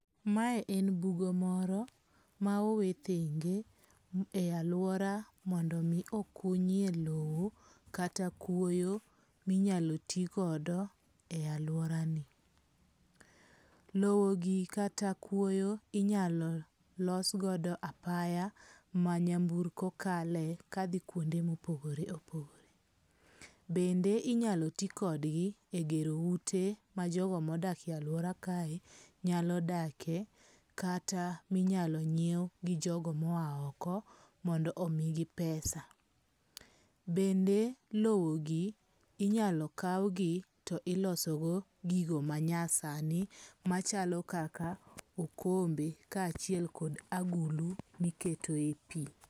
Mae en bugo moro ma owe thenge e aluora mondo mi okunyie lowo kata kwoyo minyalo tigodo e aluora ni. Lowo gi kata kwoyo inyalo losgodo apaya ma nyamburko kalie ka dhi kuonde mopogore opogore. Bende inyalo ti kodgi e gero ute ma jogo modakie aluora kae nyalo dake kata minyalo nyiew gi jogo moa oko mondo omi gi pesa. Bende lowo gi inyalo kaw gi to iloso go gigo manyasani machalo kaka okombe ka achiel kod agulu miketoe pi.